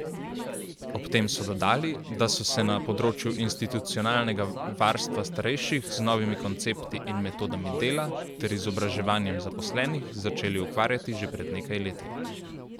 Ob tem so dodali, da so se na področju institucionalnega varstva starejših z novimi koncepti in metodami dela ter izobraževanjem zaposlenih začeli ukvarjati že pred nekaj leti.